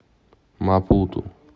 мапуту